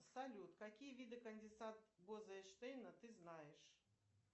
салют какие виды конденсат боза энштейна ты знаешь